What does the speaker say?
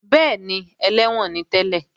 Bẹ́ẹ̀ni, ẹlẹ́wọ̀n ni tẹ́lẹ̀